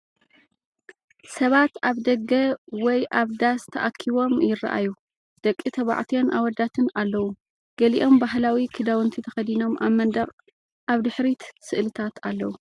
ሰባት ኣብ ደገ ወይ ኣብ ዳስ ተኣኪቦም ይረኣዩ። ደቂ ተባዕትዮን ኣወዳትን ኣለዉ፡ ገሊኦም ባህላዊ ክዳውንቲ ተኸዲኖም፡ ኣብ መንደቕ ኣብ ድሕሪት ስእልታት ኣለዉ።